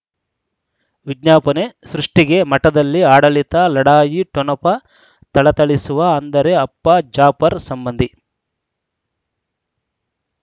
ವಿಜ್ಞಾಪನೆ ಸೃಷ್ಟಿಗೆ ಮಠದಲ್ಲಿ ಆಡಳಿತ ಲಢಾಯಿ ಠೊಣಪ ಥಳಥಳಿಸುವ ಅಂದರೆ ಅಪ್ಪ ಜಾಫರ್ ಸಂಬಂಧಿ